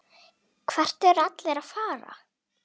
Það hefir ekki þorað öðru.